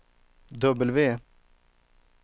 W